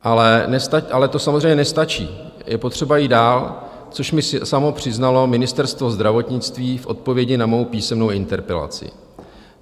Ale to samozřejmě nestačí, je potřeba jít dál, což mi samo přiznalo Ministerstvo zdravotnictví v odpovědi na mou písemnou interpelaci.